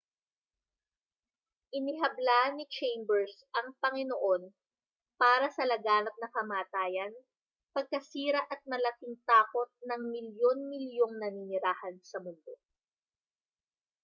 inihabla ni chambers ang panginoon para sa laganap na kamatayan pagkasira at malaking takot ng milyun-milyong naninirahan sa mundo